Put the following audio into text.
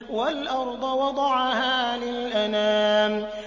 وَالْأَرْضَ وَضَعَهَا لِلْأَنَامِ